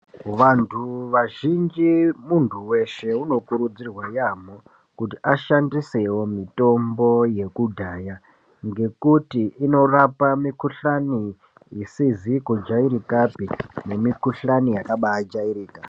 Vantu vazhinji, muntu weshe unokurudzirwa yamo, kuti ashandisewo mitombo yekudaya ngekuti inorapa mikhuhlane isizikujayirika nemikhuhlane yakaba jayirika.